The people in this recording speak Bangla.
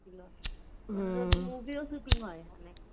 movie ও shooting হয় ওখানে